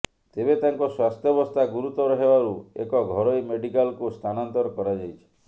ତେବେ ତାଙ୍କ ସ୍ୱାସ୍ଥ୍ୟବସ୍ଥା ଗୁରୁତର ହେବାରୁ ଏକ ଘରୋଇ ମେଡିକାଲକୁ ସ୍ଥାନାନ୍ତର କରାଯାଇଛି